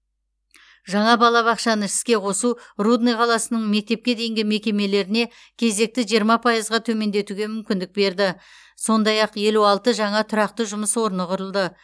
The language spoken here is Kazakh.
жаңа балабақшаны іске қосу рудный қаласының мектепке дейінгі мекемелеріне кезекті жиырма пайызға төмендетуге мүмкіндік берді сондай ақ елу алты жаңа тұрақты жұмыс орны құрылды